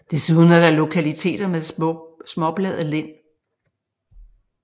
Desuden er der lokaliteter med småbladet lind